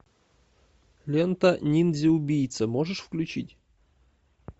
лента ниндзя убийца можешь включить